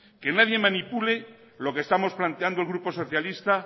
que nadie manipule lo que estamos planteando el gruposocialista